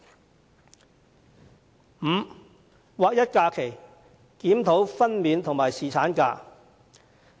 第五，劃一假期，檢討分娩假和侍產假。